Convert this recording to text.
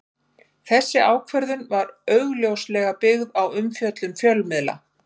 Þessi ákvörðun var augljóslega byggð á umfjöllun fjölmiðla.